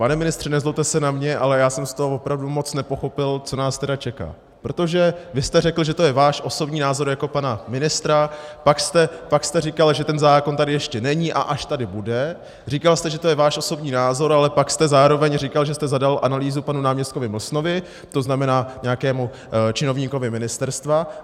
Pane ministře, nezlobte se na mě, ale já jsem z toho opravdu moc nepochopil, co nás tedy čeká, protože vy jste řekl, že to je váš osobní názor jako pana ministra, pak jste říkal, že ten zákon tady ještě není, a až tady bude - říkal jste, že to je váš osobní názor, ale pak jste zároveň říkal, že jste zadal analýzu panu náměstkovi Mlsnovi, to znamená nějakému činovníkovi ministerstva.